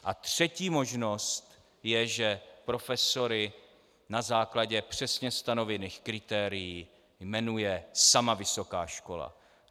A třetí možnost je, že profesory na základě přesně stanovených kritérií jmenuje sama vysoká škola.